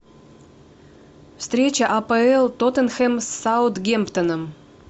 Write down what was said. встреча апл тоттенхэм с саутгемптоном